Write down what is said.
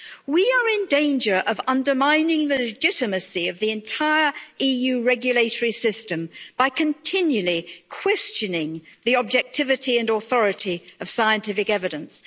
We are in danger of undermining the legitimacy of the entire EU regulatory system by continually questioning the objectivity and authority of scientific evidence